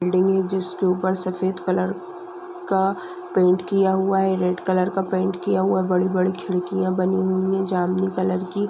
building हे जिस के ऊपर सफेद कलर का पेंट किया हुआ है रेड कलर का पेंट किया हुआ बड़ी बड़ी खिड़कियां बनी हुई है जामीनी कलर की--